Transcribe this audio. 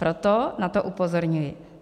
Proto na to upozorňuji.